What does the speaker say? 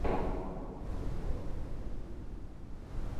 воч он ютьюб